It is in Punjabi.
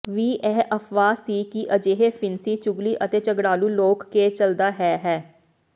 ਵੀ ਇਹ ਅਫ਼ਵਾਹ ਸੀ ਕਿ ਅਜਿਹੇ ਫਿਣਸੀ ਚੁਗਲੀ ਅਤੇ ਝਗੜਾਲੂ ਲੋਕ ਕੇ ਚੱਲਦਾ ਹੈ ਹੈ